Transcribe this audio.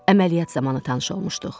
Əməliyyat zamanı tanış olmuşduq.